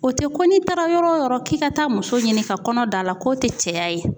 O te ko n'i taara yɔrɔ o yɔrɔ k'i ka taa muso ɲini ka kɔnɔ da la k'o te cɛya ye.